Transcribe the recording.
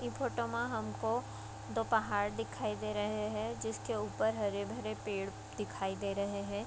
ई photo मा हमको दो पहाड़ दिखाई दे रहे है जिसके ऊपर हरे-भरे पेड़ दिखाई दे रहे हैं ।